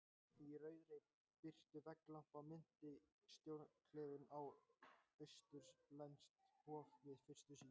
Í rauðri birtu vegglampanna minnti stjórnklefinn á austurlenskt hof- við fyrstu sýn.